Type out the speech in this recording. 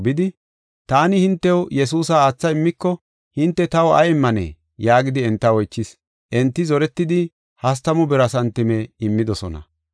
bidi, “Taani hintew Yesuusa aatha immiko, hinte taw ay immanee?” yaagidi enta oychis. Enti zoretidi hastamu bira santime immidosona.